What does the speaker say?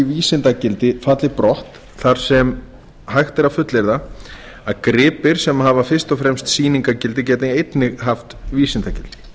vísindagildi falli brott þar sem hægt er að fullyrða að gripir sem hafa fyrst og fremst sýningargildi geti einnig haft vísindagildi